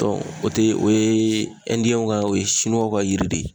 Dɔn o te o ye ɛndiyɛn ka o ye siniwaw ka yiri de ye